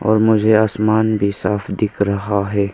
और मुझे आसमान भी साफ दिख रहा है।